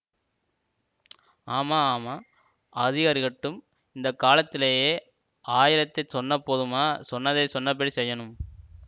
ஆமா ஆமா அதிருக்கட்டும் இந்த காலத்திலே ஆயிரத்தைச் சொன்னாப் போதுமா சொன்னதைச் சொன்னபடி செய்யணும்